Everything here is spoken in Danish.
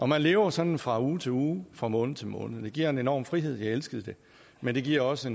man lever sådan fra uge til uge fra måned til måned det giver en enorm frihed og jeg elskede det men det giver også